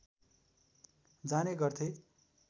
जाने गर्थे